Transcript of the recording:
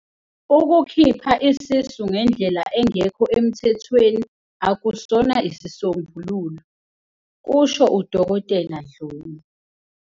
Ukukhipha isisu ngendlela engekho emthethweni akusona isisombululo," kusho uDkt Dhlomo.